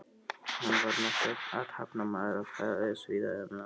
Hann var merkur athafnamaður og ferðaðist víða um land.